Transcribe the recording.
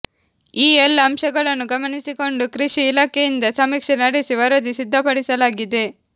ಈ ಎಲ್ಲ ಅಂಶಗಳನ್ನು ಗಮನಿಸಿಕೊಂಡು ಕೃಷಿ ಇಲಾಖೆಯಿಂದ ಸಮೀಕ್ಷೆ ನಡೆಸಿ ವರದಿ ಸಿದ್ಧಪಡಿಸಲಾಗಿದೆ